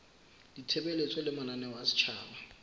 ditshebeletso le mananeo a setjhaba